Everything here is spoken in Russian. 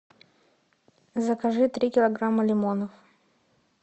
закажи три килограмма лимонов